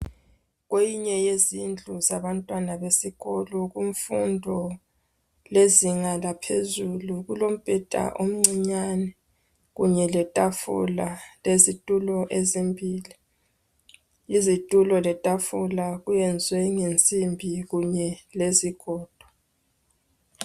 Kwenye yezindlu zabantwana besikolo kumfundo lezinga laphezulu kulombeda omncinyani kunye letafula lezitulo ezimbili izitulo letafula kuyenziwe ngensimbi kunye lezigodo